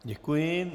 Děkuji.